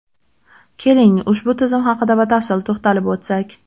Keling, ushbu tizim haqida batafsil to‘xtalib o‘tsak.